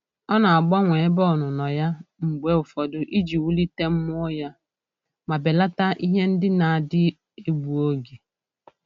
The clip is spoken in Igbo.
Ọ na-agbanwe ebe ọnụnọ ya mgbe ụfọdụ iji wulite mmụọ ya ma belata ihe ndị na-adị egbu oge.